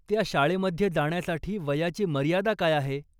त्या शाळेमध्ये जाण्यासाठी वयाची मर्यादा काय आहे?